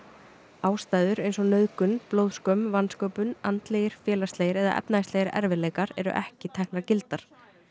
ástæður eins og nauðgun blóðskömm vansköpun andlegir félagslegir eða efnahagslegir erfiðleikar eru ekki teknar gildar